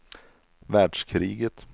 världskriget